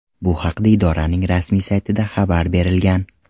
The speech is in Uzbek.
Bu haqda idoraning rasmiy saytida xabar berilgan .